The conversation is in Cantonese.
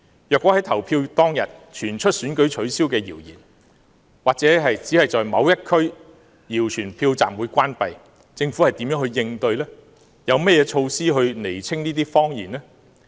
如果投票當天傳出選舉取消的謠言，或是只在某一區謠傳票站關閉，政府將如何應對，有甚麼措施釐清謊言呢？